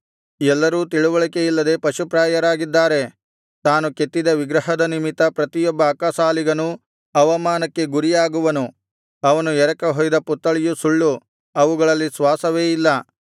ಎಲ್ಲರೂ ತಿಳಿವಳಿಕೆಯಿಲ್ಲದೆ ಪಶುಪ್ರಾಯರಾಗಿದ್ದಾರೆ ತಾನು ಕೆತ್ತಿದ ವಿಗ್ರಹದ ನಿಮಿತ್ತ ಪ್ರತಿಯೊಬ್ಬ ಅಕ್ಕಸಾಲಿಗನೂ ಅವಮಾನಕ್ಕೆ ಗುರಿಯಾಗುವನು ಅವನು ಎರಕಹೊಯ್ದ ಪುತ್ತಳಿಯು ಸುಳ್ಳು ಅವುಗಳಲ್ಲಿ ಶ್ವಾಸವೇ ಇಲ್ಲ